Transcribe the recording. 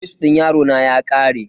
Wifs din yarona ya kare.